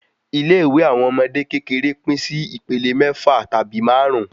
Ilé ìwé àwọn ọmọdé kékeré pín sí ìpele méfà tàbí márùn